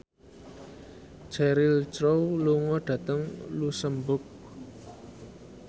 Cheryl Crow lunga dhateng luxemburg